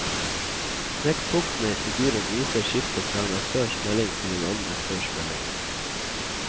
Knekkpunktene i figuren viser skiftet fra en aktørs melding til en annen aktørs melding.